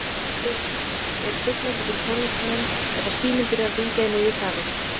Hjördís: Er truflandi fyrir tónlistarmenn ef að síminn byrjar að hringja í miðju kafi?